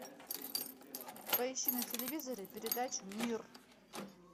поищи на телевизоре передачу мир